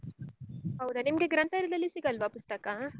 ಹೌದ ನಿಮ್ಗೆ ಗ್ರಂಥಾಲಯದಲ್ಲಿ ಸಿಗಲ್ವಾ ಪುಸ್ತಕ?